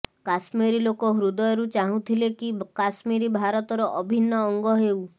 କାଶ୍ମିରୀ ଲୋକ ହୃଦୟରୁ ଚାହୁ ଁଥିଲେ କି କାଶ୍ମିରୀ ଭାରତର ଅଭିନ୍ନ ଅଙ୍ଗ ହେଉ